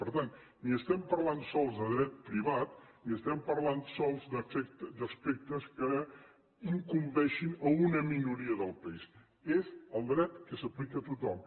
per tant ni parlem sols de dret privat ni parlem sols d’aspectes que incumbeixin una minoria del país és el dret que s’aplica a tothom